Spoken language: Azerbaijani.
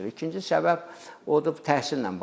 İkinci səbəb odur, bu təhsillə bağlıdır.